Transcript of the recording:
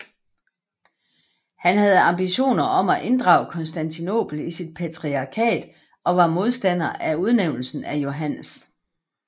Han havde ambitioner om at inddrage Konstantinopel i sit patriarkat og var modstander af udnævnelsen af Johannes